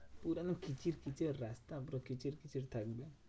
পুরো একদম খিচির পিচ্চির রাস্তা পুরো খিচির পিচ্চির থাকবে।